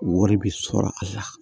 Wari bɛ sɔrɔ a la